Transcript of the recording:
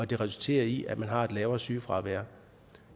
det resulterer i at man har et lavere sygefravær